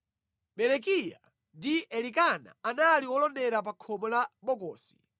Berekiya ndi Elikana anali olondera pa khomo la bokosilo.